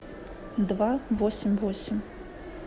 два восемь восемь